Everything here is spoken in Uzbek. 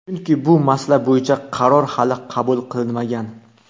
Chunki bu masala bo‘yicha qaror hali qabul qilinmagan.